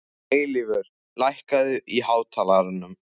Eilífur, lækkaðu í hátalaranum.